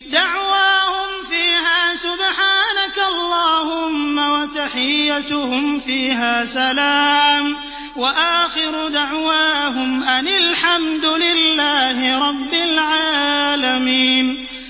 دَعْوَاهُمْ فِيهَا سُبْحَانَكَ اللَّهُمَّ وَتَحِيَّتُهُمْ فِيهَا سَلَامٌ ۚ وَآخِرُ دَعْوَاهُمْ أَنِ الْحَمْدُ لِلَّهِ رَبِّ الْعَالَمِينَ